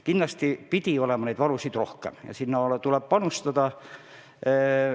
Kindlasti pidi neid olema rohkem ja sinna tuleb panustada.